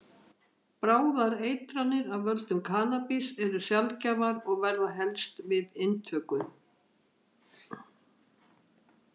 Bráðar eitranir af völdum kannabis eru sjaldgæfar og verða helst við inntöku.